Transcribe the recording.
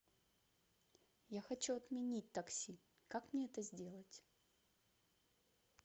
я хочу отменить такси как мне это сделать